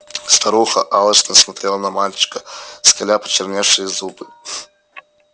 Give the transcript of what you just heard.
старуха алчно смотрела на мальчика скаля почерневшие зубы